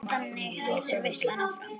Og þannig heldur veislan áfram.